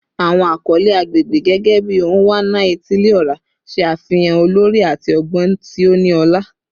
Awọn akọle agbegbe, gẹgẹbi "Onwa-na-etili-ora," ṣe afihan olori ati ọgbọn ti o ni ọla.